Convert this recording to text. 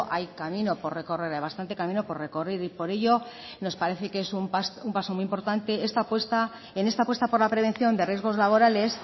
hay camino por recorrer hay bastante camino por recorrer y por ello nos parece que es un paso muy importante en esta apuesta por la prevención de riesgos laborales